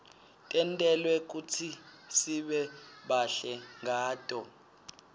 tentelwe kutsisibe bahle ngato